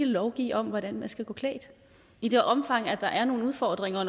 lovgive om hvordan man skal gå klædt i det omfang der er nogle udfordringer